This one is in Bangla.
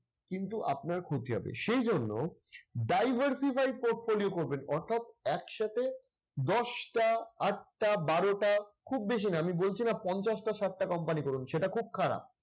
কিন্তু আপনার ক্ষতি হবে। সেই জন্য diversify portfolio করবেন অর্থাৎ একসাথে দশটা, আটটা, বারোটা খুব বেশি না, আমি বলছি না পঞ্চাশটা, ষাটটা company করুন। সেটা খুব খারাপ।